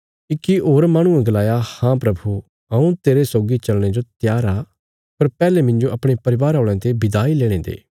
इक्की होर माहणुये गलाया हाँ प्रभु हऊँ तेरे सौगी चलने जो त्यार आ पर पैहले मिन्जो अपणे परिवार औल़यां ते विदाई लेणे दे